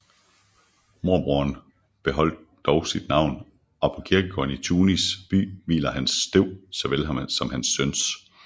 Morbroderen beholdt dog sit navn og på kirkegården i Tunis by hviler hans støv såvel som hans søns